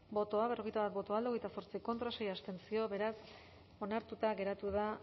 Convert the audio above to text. bozka berrogeita bat boto alde hogeita zortzi contra sei abstentzio beraz onartuta geratu da